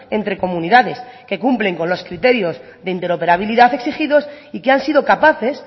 entre comunidades que cumplen con los criterios de interoperabilidad exigidos y que han sido capaces